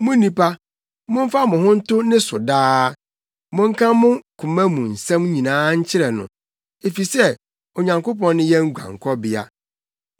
Mo nnipa, momfa mo ho nto ne so daa; monka mo koma mu nsɛm nyinaa nkyerɛ no, efisɛ Onyankopɔn ne yɛn guankɔbea.